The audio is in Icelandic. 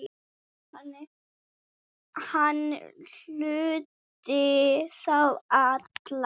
Hann huldi þá alla